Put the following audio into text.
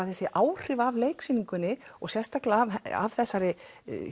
þessi áhrif af leiksýningunni og sérstaklega af þessari